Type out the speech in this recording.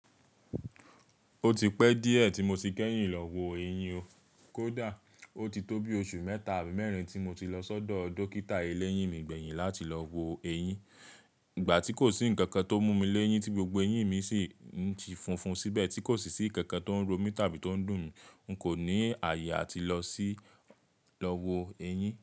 Ó ti pẹ́ díẹ̀ tí mo ti kẹ́yìn lọ wo ẹyín o. Kódà ó ti tó bí oṣù mẹ́ta àbí mẹ́rin tí mo ti lọ sọ́dọ̀ dókítà eléyìn mi gbẹ̀yìn láti lọ wo ẹyín. Ìgbà tí kò sí ǹkan kan tó mú mi léyín tí gbogbo eyín mi sì ń fúnfún síbẹ̀ tí kò sì sí ǹkan kan tó ń ro mí tàbí tó ń dùn mí, n kò ní àyè àti lọ sí lọ wo ẹyín.